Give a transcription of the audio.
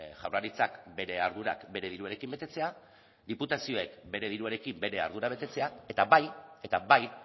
jaurlaritzak bere ardurak bere diruarekin betetzea diputazioek bere diruarekin bere ardura betetzea eta bai eta bai